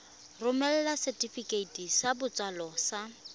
romela setefikeiti sa botsalo sa